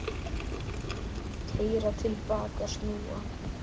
Keyra til baka, snúa.